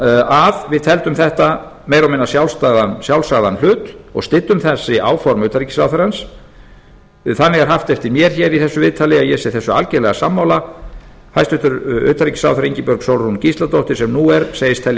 að við teldum þetta meira og minna sjálfsagðan hlut og styddum þessi áform utanríkisráðherrann þannig er haft eftir mér hér í þessu viðtali að ég sé þessu algerlega sammála hæstvirtum utanríkisráðherra ingibjörg sólrún gísladóttir sem nú er segist telja